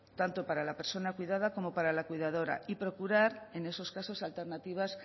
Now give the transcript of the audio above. tanto para la persona cuidada como para la cuidadora y procurar en esos casos alternativas